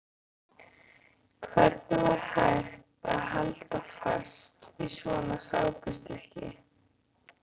Hvernig var hægt að halda fast í svona sápustykki!